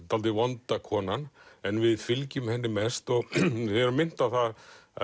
dálítið vonda konan en við fylgjum henni mest og erum minnt á að